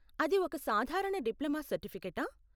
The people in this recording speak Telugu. అది ఒక సాధారణ డిప్లమా సర్టిఫికేటా?